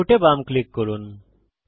input এ বাম click করুন